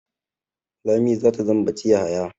Lami ta zambaci Yahaya.